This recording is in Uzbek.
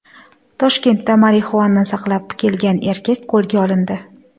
Toshkentda marixuana saqlab kelgan erkak qo‘lga olindi.